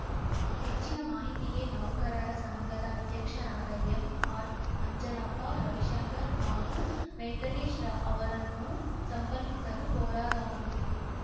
ಹೆಚ್ಚಿನ ಮಾಹಿತಿಗೆ ನೌಕರರ ಸಂಘದ ಅಧ್ಯಕ್ಷರಾದ ಎಂಆರ್‌ಅಂಜನಪ್ಪ ರವಿಶಂಕರ್‌ ಹಾಗೂ ವೆಂಕಟೇಶ್‌ ಅವರನ್ನು ಸಂಪರ್ಕಿಸಲು ಕೋರಲಾಗಿದೆ